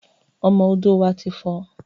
Ọmọ odò wá ti fọ̀